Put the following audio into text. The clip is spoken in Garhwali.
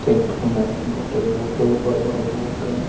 तेक फुंडा बूट ही बूट बड़ा-बड़ा बूट।